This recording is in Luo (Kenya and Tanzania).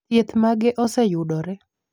thieth mage oseyudore